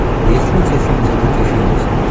есть ли у тебя фильм забытый феникс